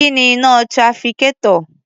Kí ni iná trafficator?